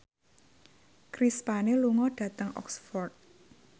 Chris Pane lunga dhateng Oxford